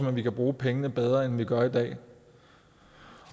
at vi kan bruge pengene bedre end vi gør i dag